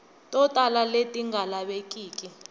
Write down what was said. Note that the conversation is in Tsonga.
to tala leti nga lavekiki